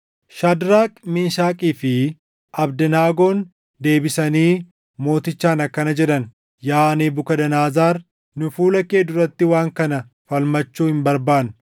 Shaadraak, Meeshakii fi Abdanaagoon deebisanii mootichaan akkana jedhan; “Yaa Nebukadnezar, nu fuula kee duratti waan kana falmachuu hin barbaannu.